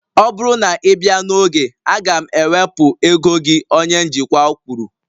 Ọ bụrụ na ị bịa n'oge, a ga m ewepụ ego gị onye njikwa kwuru